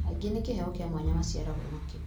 angĩ nĩ kĩheo kĩa mwanya maciarĩagwo nakĩo